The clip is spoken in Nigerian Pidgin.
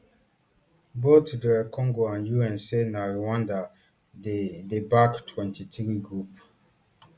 both dr congo and un say na rwanda dey dey back mtwenty-three group